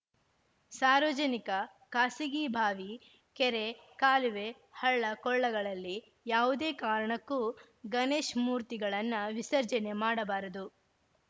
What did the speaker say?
ಸಾರ್ವಜನಿಕ ಖಾಸಗಿ ಬಾವಿ ಕೆರೆ ಕಾಲುವೆ ಹಳ್ಳ ಕೊಳ್ಳಗಳಲ್ಲಿ ಯಾವುದೇ ಕಾರಣಕ್ಕೂ ಗಣೇಶ್ ಮೂರ್ತಿಗಳನ್ನ ವಿಸರ್ಜನೆ ಮಾಡಬಾರದು